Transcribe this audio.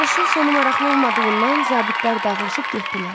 Yarışın sonu maraqlı olmadığından zabitlər dağılışıb getdilər.